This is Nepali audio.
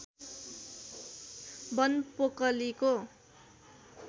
वन पोकलीको